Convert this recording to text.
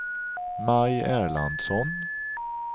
Maj Erlandsson